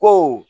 Ko